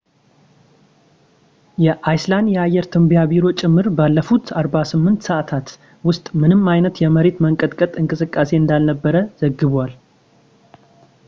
የአይስላንድ የአየር ትንበያ ቢሮ ጭምር ባለፉት 48 ሰዐታት ውስጥ ምንም አይነት የመሬት መንቀጥቀጥ እንቅስቃሴ እንዳልነበር ዘግቧል